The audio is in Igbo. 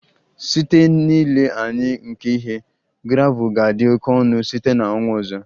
Site n'ile anya nke ihe, gravel ga-adị oke ọnụ site na ọnwa ọzọ